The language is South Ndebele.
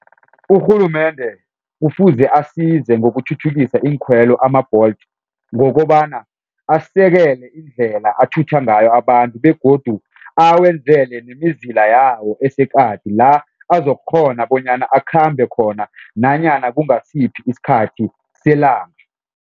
Urhulumende kufuze asize ngokuthuthukisa iinkhwelo ama-Bolt ngokobana asekele indlela athutha ngayo abantu begodu awenzele nemizila yawo aseqadi la azokukghona bonyana akhambe khona nanyana kungasiphi isikhathi selanga.